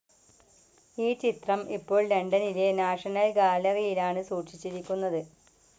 ഈ ചിത്രം ഇപ്പോൾ ലണ്ടനിലെ നാഷണൽ ഗാലറിയിലാണ് സൂക്ഷിച്ചിരിക്കുന്നത്.